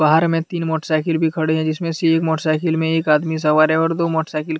बाहर में तीन मोटरसाईकल भी खड़े है। जिसमे से एक मोटरसाईकल में एक आदमी सवार हैऔर दो मोटरसाईकल --